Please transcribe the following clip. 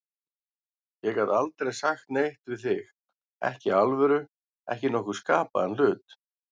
Ég gat aldrei sagt neitt við þig, ekki í alvöru, ekki nokkurn skapaðan hlut.